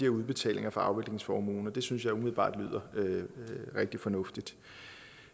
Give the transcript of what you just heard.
udbetalinger fra afviklingsformuen det synes jeg umiddelbart lyder rigtig fornuftigt